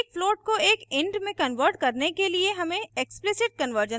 एक float को एक int में convert करने के लिए हमें explicit कन्वर्जन का प्रयोग करना होगा